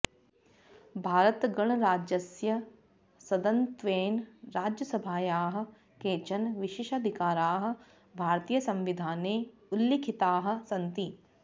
भारतगणराज्यस्य सदनत्वेन राज्यसभायाः केचन विशेषाधिकाराः भारतीयसंविधाने उल्लिखिताः सन्ति